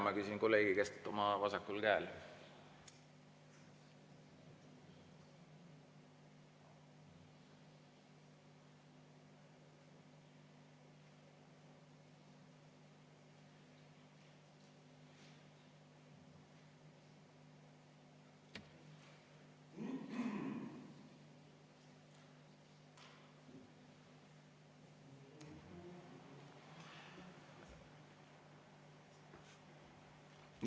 Ma küsin kolleegi käest oma vasakul käel.